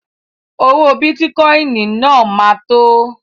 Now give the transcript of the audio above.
Owó bìtì náà ma tó